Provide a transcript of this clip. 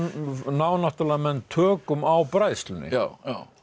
ná náttúrulega menn tökum á bræðslunni